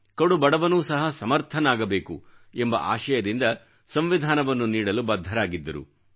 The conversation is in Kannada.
ಕಡುಬಡವನೂ ಸಹ ಸಮರ್ಥನಾಗಬೇಕು ಎಂಬ ಆಶಯದಿಂದ ಸಂವಿಧಾನವನ್ನು ನೀಡಲು ಬದ್ಧರಾಗಿದ್ದರು